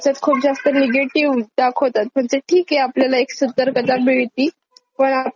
म्हणजे ठीक आहे आपल्याला एक सतर्कतामिळतीपण आपला माईंड अप्रोच नेगेटिव होतो असं मला वाटत.